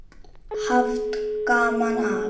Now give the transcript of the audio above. Haft gaman af.